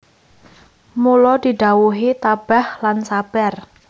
Mula didhawuhi tabah lan sabar